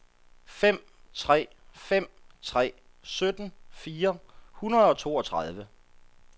fem tre fem tre sytten fire hundrede og toogtredive